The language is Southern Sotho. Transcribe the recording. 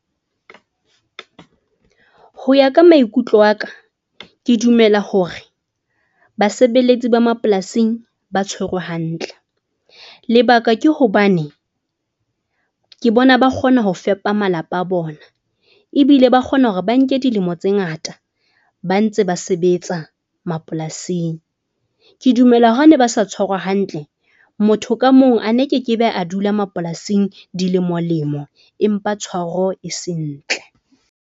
Ho ya ka maikutlo a ka, ke dumela hore basebeletsi ba mapolasing ba tshwerwe hantle. Lebaka ke hobane ke bona ba kgona ho fepa malapa a bona ebile ba kgona hore ba nke dilemo tse ngata ba ntse ba sebetsa mapolasing. Ke dumela hanwe ba sa tshwara hantle, motho ka mong a ne ke ke be a dula mapolasing dilemo lemo, empa tshwaro e se sentle.